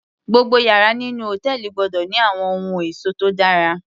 Gbogbo yàrá nínú hòtẹ́ẹ̀lì gbọ́dọ̀ ní àwọn ohun ẹ̀ṣọ́ tó dára